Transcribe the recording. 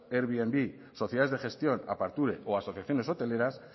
airbnb sociedades de gestión o asociaciones hoteleras